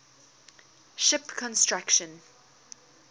ship construction